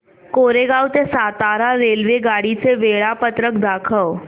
कोरेगाव ते सातारा रेल्वेगाडी चे वेळापत्रक दाखव